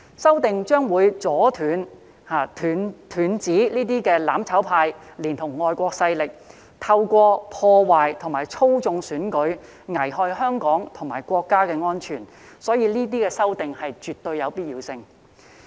修訂將會阻斷"攬炒派"連同外國勢力透過破壞和操縱選舉，危害香港及國家的安全，所以這些修訂絕對有必要。